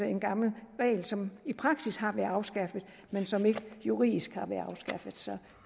en gammel regel som i praksis har været afskaffet men som ikke juridisk har været afskaffet så